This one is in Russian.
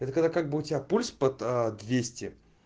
это когда как бы у тебя пульс под аа двести